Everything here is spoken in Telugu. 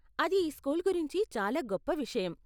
అది ఈ స్కూల్ గురించి చాలా గొప్ప విషయం.